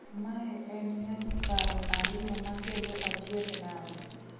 "Mae en nyadiparo ariyo makelo achiedh nade."